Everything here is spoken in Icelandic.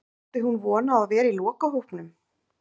Átti hún von á að vera í lokahópnum?